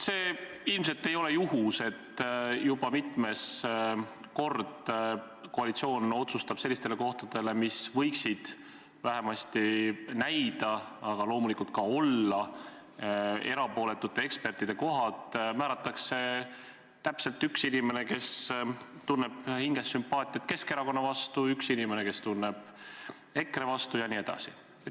See ilmselt ei ole juhus, et juba mitmes kord koalitsioon otsustab sellistele kohtadele, mis võiksid vähemasti näida, aga loomulikult ka olla erapooletute ekspertide kohad, määrata ühe inimese, kes tunneb hinges sümpaatiat Keskerakonna vastu, ühe inimese, kes tunneb sümpaatiat EKRE vastu, jne.